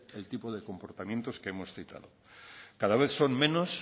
el tipo de comportamientos que hemos citado cada vez son menos